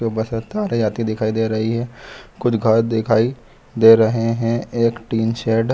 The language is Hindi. बस तारे आते दिखाई दे रही है कुछ घर दिखाई दे रहे है एक टीन शेड --